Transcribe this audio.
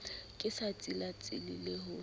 ke sa tsilatsile le ho